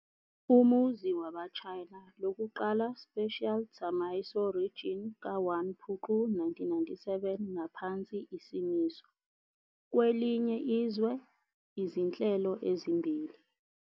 Umuzi waba China lokuqala Special Tsamaiso Region ka 1 Phupu 1997 ngaphansi isimiso "kwelinye izwe, izinhlelo ezimbili".